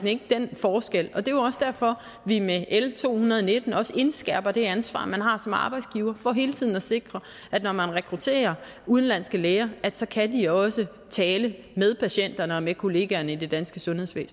ikke den forskel og det er jo også derfor at vi med l to hundrede og nitten også indskærper det ansvar man har som arbejdsgiver for hele tiden at sikre at når man rekrutterer udenlandske læger så kan de også tale med patienterne og med kollegaerne i det danske sundhedsvæsen